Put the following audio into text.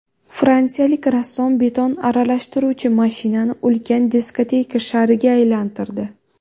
Fransiyalik rassom beton aralashtiruvchi mashinani ulkan diskoteka shariga aylantirdi .